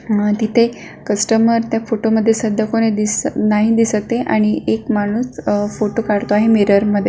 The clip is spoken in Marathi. आणि तिथे कस्टमर त्या फोटो मध्ये सध्या कोणी दिसत नाही दिसत ये आणि एक माणूस फोटो काढतो आहे मिरर मध्ये.